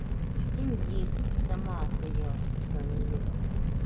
прикинь есть сама охуела что они есть